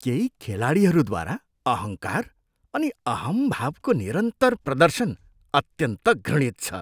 केही खेलाडीहरूद्वारा अहङ्कार अनि अहम्भावको निरन्तर प्रदर्शन अत्यन्त घृणित छ।